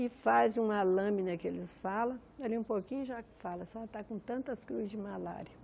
e faz uma lâmina que eles falam, ali um pouquinho já fala, a senhora está com tantas cruzes de malária.